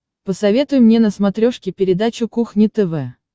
посоветуй мне на смотрешке передачу кухня тв